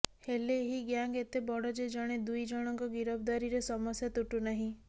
ହେଲେ ଏହି ଗ୍ୟାଙ୍ଗ ଏତେ ବଡ଼ ଯେ ଜଣେ ଦୁଇ ଜଣଙ୍କ ଗିରଫଦାରୀରେ ସମସ୍ୟା ତୁଟୁ ନାହିଁ